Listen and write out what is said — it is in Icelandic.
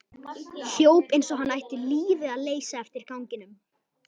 Hljóp eins og hann ætti lífið að leysa eftir ganginum.